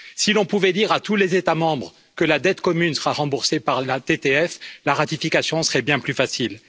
Si l'on pouvait dire à tous les États membres que la dette commune sera remboursée par la TTF, la ratification serait bien plus facile.